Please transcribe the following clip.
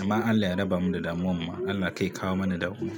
amma Allah ya raba mu da damuwar ma. Allah kai kawo mana damuwa.